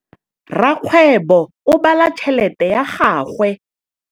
Rakgwêbô o bala tšheletê ya gagwe.